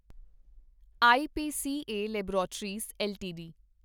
IPCA laboratories LTD